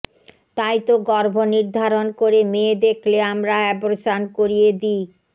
তাইতো গর্ভ নির্ধারণ করে মেয়ে দেখলে আমরা আব্রেশন করিয়ে দিই